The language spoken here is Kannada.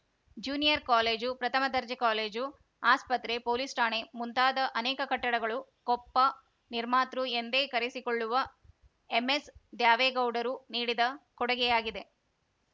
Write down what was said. ಜ್ಯೂನಿಯರ್‌ ಕಾಲೇಜು ಪ್ರಥಮ ದರ್ಜೆ ಕಾಲೇಜು ಆಸ್ಪತ್ರೆ ಪೋಲೀಸ್‌ ಠಾಣೆ ಮುಂತಾದ ಅನೇಕ ಕಟ್ಟಡಗಳು ಕೊಪ್ಪ ನಿರ್ಮಾತೃ ಎಂದೇ ಕರೆಸಿಕೊಳ್ಳುವ ಎಂಎಸ್‌ದ್ಯಾವೇಗೌಡರು ನೀಡಿದ ಕೊಡುಗೆಯಾಗಿದೆ